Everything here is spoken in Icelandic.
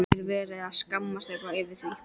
Er verið að skammast eitthvað yfir því?